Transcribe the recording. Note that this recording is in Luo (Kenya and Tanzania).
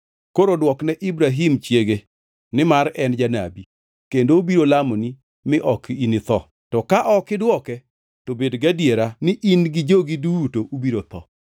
Koro dwokne Ibrahim chiege, nimar en janabi, kendo obiro lamoni mi ok initho. To ka ok idwoke, to bed gadiera ni in gi jogi duto ubiro tho.”